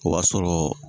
O b'a sɔrɔ